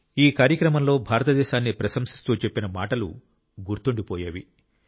ఈ కార్యక్రమంలో భారతదేశాన్ని ప్రశంసిస్తూ చెప్పిన మాటలు గుర్తుండిపోయేవి